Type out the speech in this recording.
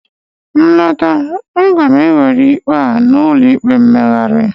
ma lọta, a ga m ewere ikpe a n'ụlọ ikpe mkpegharị